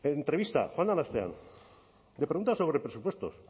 entrevista joan den astean le pregunta sobre presupuestos